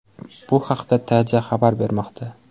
Bu haqda TJ xabar bermoqda .